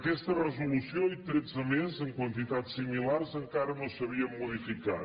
aquesta resolució i tretze més amb quantitats similars encara no s’havien modificat